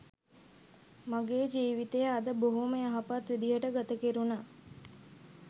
මගේ ජීවිතය අද බොහොම යහපත් විදිහට ගත කෙරුණා.